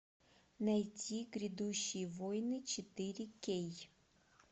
найти грядущие войны четыре кей